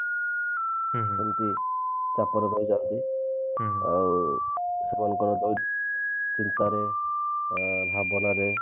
ସେମତି ଚାପରେ ରହି ଯାନ୍ତି ଆଉ ସେମାନଙ୍କର ବହୁତ ଚିନ୍ତାରେ ଅ ଭାବନାରେ